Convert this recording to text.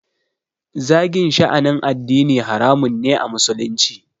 Zagin sha'anin addini haramun ne a musulunci